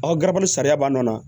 Aw ka gari sariya b'an na